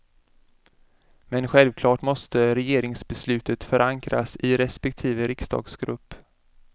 Men självklart måste regeringsbeslutet förankras i respektive riksdagsgrupp.